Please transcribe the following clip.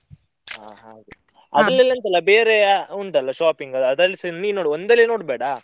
ಹಾ ಹಾಗೆ, ಅದ್ರಲ್ಲಿ ಬೇರೆ ಉಂಟಲ್ಲ shopping ದು ಅದ್ರಲ್ಲಿಸಾ ನೀನ್ ನೋಡ್ ಒಂದ್ರಲ್ಲೇ ನೋಡ್ಬೇಡ.